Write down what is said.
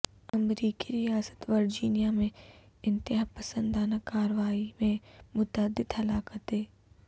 امریکی ریاست ورجینیا میں انتہا پسندانہ کارروائی میں متعدد ہلاکتیں